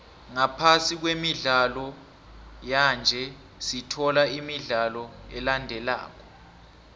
ngaphasi kwemidlalo yanje sithola imidlalo elandelako